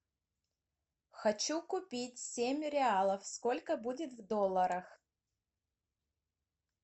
хочу купить семь реалов сколько будет в долларах